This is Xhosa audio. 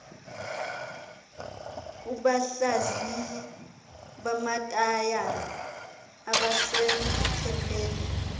kubahlaziyi bamatayara abasemthethweni